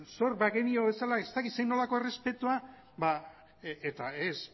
zor bagenio bezala ez dakit zer errespetua eta ez